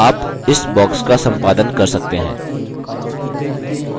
ध्यान दें कि आप इस box का सम्पादन कर सकते हैं